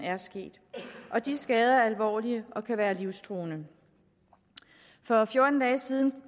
er sket skader er alvorlige og kan være livstruende for fjorten dage siden